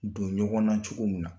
Don ɲɔgɔn na cogo min na